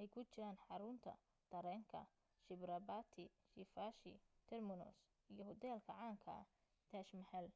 ay ku jiraan xaruunra tareenka chhatrapati shivaji terminus iyo hoteelka caanka taj mahal